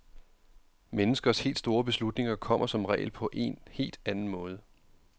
Menneskers helt store beslutninger kommer som regel på en helt anden måde.